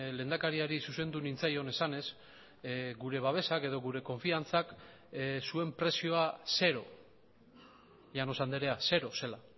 lehendakariari zuzendu nintzaion esanez gure babesak edo gure konfiantzak zuen prezioa zero llanos andrea zero zela